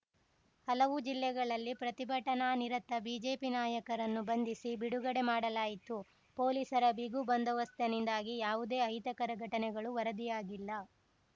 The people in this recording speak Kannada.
ಹಲವು ಜಿಲ್ಲೆಗಳಲ್ಲಿ ಪ್ರತಿಭಟನಾನಿರತ ಬಿಜೆಪಿ ನಾಯಕರನ್ನು ಬಂಧಿಸಿ ಬಿಡುಗಡೆ ಮಾಡಲಾಯಿತು ಪೊಲೀಸರ ಬಿಗಿ ಬಂದೋಬಸ್‌ತನಿಂದಾಗಿ ಯಾವುದೇ ಅಹಿತಕರ ಘಟನೆಗಳು ವರದಿಯಾಗಿಲ್ಲ